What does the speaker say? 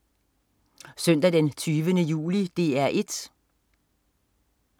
Søndag den 20. juli - DR 1: